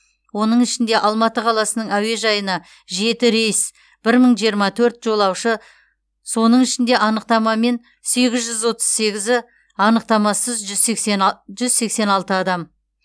оның ішінде алматы қаласының әуежайына жеті рейс бір мың жиырма төрт жолаушы соның ішінде анықтамамен сегіз жүз отыз сегізі анықтамасыз жүз сексен алты адам